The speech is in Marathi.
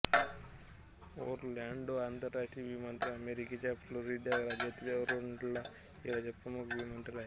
ओरलॅंडो आंतरराष्ट्रीय विमानतळ अमेरिकेच्या फ्लोरिडा राज्यातील ओरलॅंडो शहराचा प्रमुख विमानतळ आहे